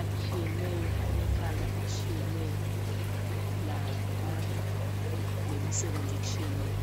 atshiyeneyo alembala etshiyeneyo lemisebenzi etshiyeneyo.